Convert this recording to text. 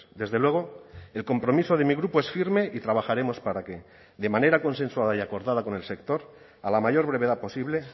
desde luego el compromiso de mi grupo es firme y trabajaremos para que de manera consensuada y acordada con el sector a la mayor brevedad posible